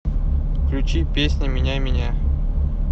включи песня меняй меня